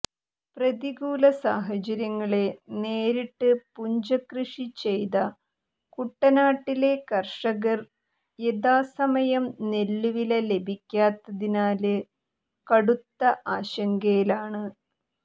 പ്രതികൂല സാഹചര്യങ്ങളെ നേരിട്ട് പുഞ്ചക്കൃഷി ചെയ്ത കുട്ടനാട്ടിലെ കര്ഷകര് യഥാസമയം നെല്ലുവില ലഭിക്കാത്തതിനാല് കടുത്ത ആശങ്കയിലാണ്